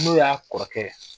N'o y'a kɔrɔkɛ ye